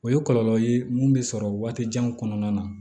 O ye kɔlɔlɔ ye mun bɛ sɔrɔ waati jan kɔnɔna na